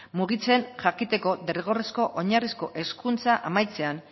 mugitzen jakiteko derrigorrezko oinarrizko hezkuntza amaitzean